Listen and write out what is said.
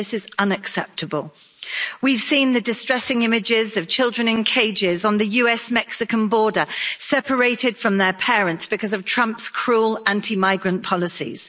This is unacceptable. We've seen the distressing images of children in cages on the US Mexican border, separated from their parents because of Trump's cruel anti migrant policies.